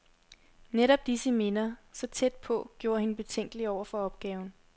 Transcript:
Netop disse minder, så tæt på, gjorde hende betænkelig over for opgaven.